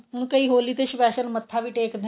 ਹੁਣ ਕਈ ਹੋਲੀ ਤੇ special ਮੱਥਾ ਵੀ ਟੇਕਦੇ ਨੇ